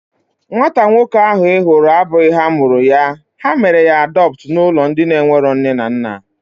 Nwata nwoke ahu ị hụrụ abụghị ha mụrụ ya. Ha mere ya adọptu n'ụlọ ndị enwero nne na nna